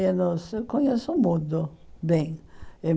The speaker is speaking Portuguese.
Eu conheço o mundo bem.